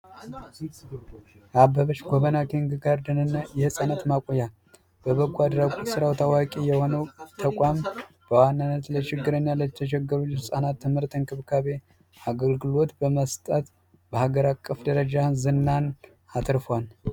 አበበች ጎበና የኪንግ ጋር ደንና የህፃናት ማቆያ የበጎ አድራጎት ድርጅት በዋናነት ለተቸገሩ ህፃናት የትምህርትና እንክብካቤ አገልግሎት በመስጠት በሀገር አቀፍ ደረጃ ዝናን አትርፏል።